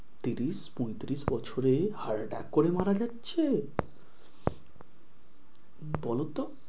ত্রিশ পঁয়ত্রিশ বছরে heart attack করে মারা যাচ্ছে, বলো তো?